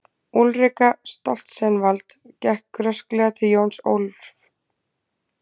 Úlrika Stoltzenwald gekk rösklega til Jóns Ólafs.